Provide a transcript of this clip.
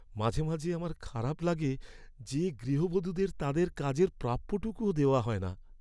মাঝে মাঝে আমার খারাপ লাগে যে গৃহবধূদের তাদের কাজের প্রাপ্যটুকুও দেওয়া হয় না।